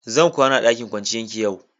Zan kwana a dakin kwanciyan ki yau.